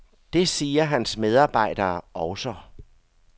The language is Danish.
Det siger hans medarbejdere også.